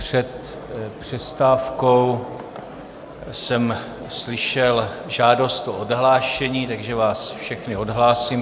Před přestávkou jsem slyšel žádost o odhlášení, takže vás všechny odhlásím.